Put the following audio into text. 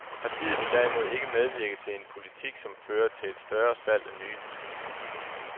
Partiet vil derimod ikke medvirke til en politik, som fører til et større salg af nye biler.